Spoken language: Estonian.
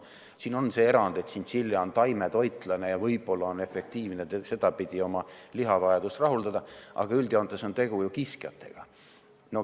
Siin on see erand, et tšintšilja on taimetoitlane ja võib-olla on efektiivne sedapidi oma lihavajadust rahuldada, aga üldjoontes on tegu ju kiskjatega.